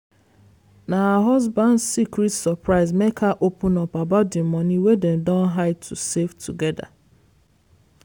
na her husband secret surprise make her open up about the money wey dem don hide to save together.